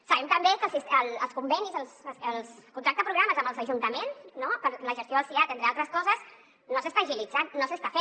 sabem també que els convenis els contractes programa amb els ajuntaments no per a la gestió dels siads entre altres coses no s’estan agilitzant no s’estan fent